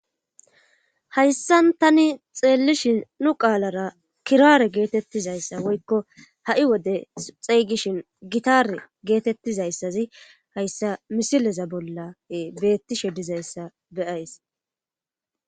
hayssan tani xeellishin nu qaalara kiraare geetettizayssa woykko ha7i wode xeygishin gitare geetettizayssazi hayssa misileza bolla beettishe dizayssa be'ays